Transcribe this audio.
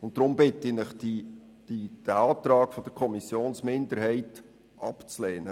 Deshalb bitte ich Sie, den Antrag der Kommissionsminderheit abzulehnen.